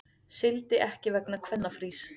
Sigldi ekki vegna kvennafrís